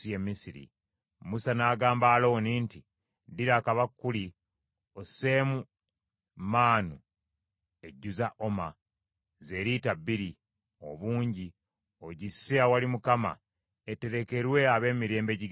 Musa n’agamba Alooni nti, “Ddira akabakuli osseemu maanu ejjuza oma, ze lita bbiri, obungi, ogisse awali Mukama , eterekerwe ab’emirembe egigenda okujja.”